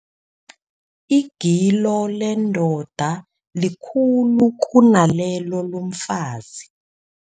Igilo lendoda likhulu kunalelo lomfazi.